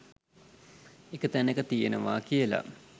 එක තැනක තියනවා කියලා